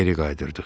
Geri qaytardıq.